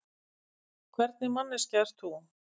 Hvernig manneskja ert þú?